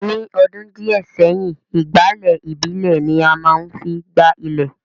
ní ọdún díẹ̀ sẹ́yìn, ìgbálẹ̀ ìbílè ni a má ń fi gbá ilẹ̀